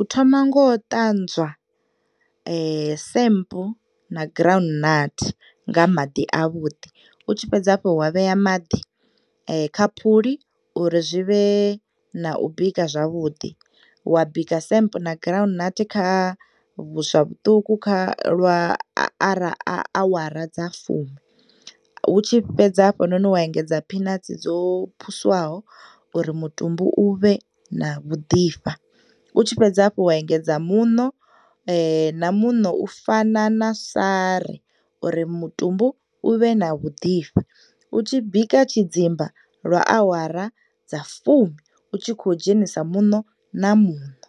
U thoma ngo u ṱanzwa, samp na ground nut, nga maḓi a vhuḓi. U tshi fhedza hafhu wa vhea maḓi kha phuli uri zwivhe na u bika zwavhuḓi, wa bika samp na ground nut kha vhuswa vhuṱuku, kha lwa awara dza fumi, u tshi fhedza hafhanoni wa engedza peanuts dzo phusuwaho uri mutumbu uvhe na vhu ḓivha. Utshi fhedza hafhu wa engedza muṋo, na muṋo u fana na sari uri mutumbu u vhe na u ḓifha. U tshi bika tshidzimba lwa awara dza fumi, u tshi khou dzhenisa muṋo na muṋo.